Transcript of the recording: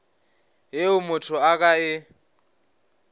yeo motho a ka e